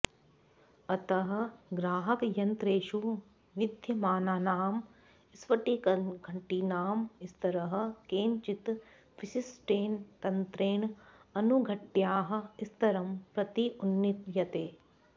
अतः ग्राहकयन्त्रेषु विद्यमानानां स्फटिकघटीनां स्तरः केनचित् विशिष्टेन तन्त्रेण अणुघट्याः स्तरं प्रति उन्नीयते